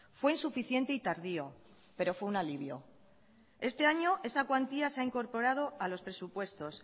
fue insuficiente y tardío pero fue un alivio este año esa cuantía se ha incorporado a los presupuestos